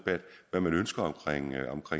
hvad man ønsker